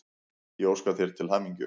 og óska þér til hamingju.